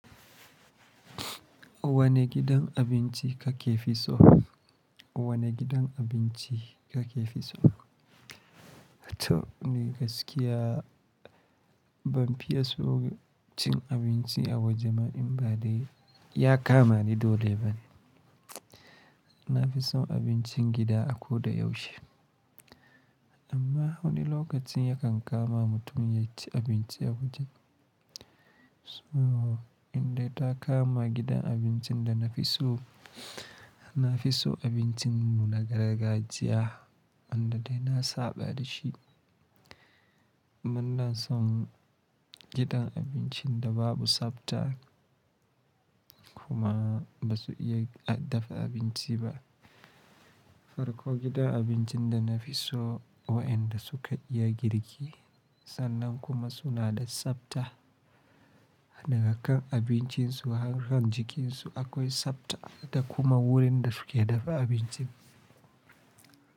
Wane gidan abinci kake fi so? Wane gidan abinci kake fi so? To ni gaskiya ban fi ya so cin abinci a waje ba in ba dai ya kama ni dole bane. Na fi son abincin gida a ko da yaushe. Amma wani lokacin yakan kama mutum ya ci abinci a waje. So inda ta kama gidan abincin da na fi so, na fi so abincin mu na gargajiya wanda dai na saba da shi. Ban son gidan abincin da babu tsabta kuma ba su iya dafa abinci ba. Farko gidan abincin da na fi so waɗanda su ka iya girki sannan kuma su na da tsabta. Daga kan abincin su har kan jikin su akwai tsabta da kuma wurin da su ke dafa abincin.